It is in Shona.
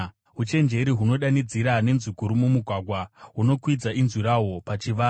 Uchenjeri hunodanidzira nenzwi guru mumugwagwa, hunokwidza inzwi rahwo pachivara;